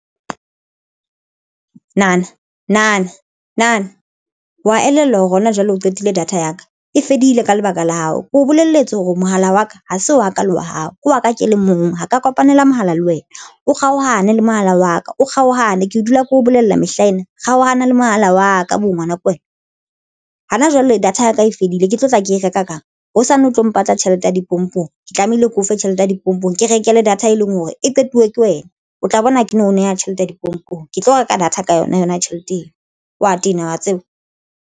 Nine wa elellwa hore hona jwale o qetile data ya ka e fedile ka lebaka la hao ko o bolelletse hore mohala wa ka ha se wa ka le wa hao ke wa ka ke le mong ho ka kopanela mohala le wena o kgaohane le mohala wa ka o kgaohane ke dula ke ho bolella mehlaena kgaohana le mohala wa ka bo ngwana ko wena hana jwale data ya ka e fedile ke tlo tla ke e reka kang hosane o tlo mpatla tjhelete tee ya dipompong Ke tlamehile ke o fe tjhelete ya dipompong ke rekele data e leng hore e qetuwe ke wena, o tla bona ke no neha tjhelete ya dipompong ke tlo reka data ka yona yona tjhelete eo wa tena wa tseba.